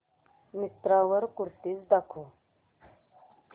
मिंत्रा वर कुर्तीझ दाखव